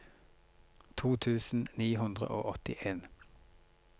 to tusen ni hundre og åttien